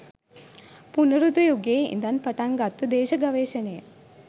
පුනරුද යුගයේ ඉඳන් පටන් ගත්තු දේශ ගවේෂණය